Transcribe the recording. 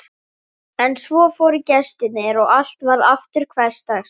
En svo fóru gestirnir og allt varð aftur hversdagslegt.